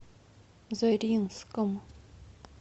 заринском